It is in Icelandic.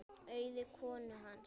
Auði konu hans.